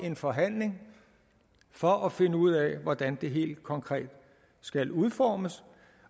en forhandling for at finde ud af hvordan det helt konkret skal udformes